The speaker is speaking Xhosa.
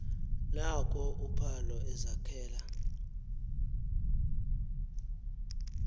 naanko uphalo ezakhela